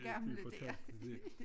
De fortalte det